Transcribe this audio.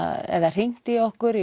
hringt í okkur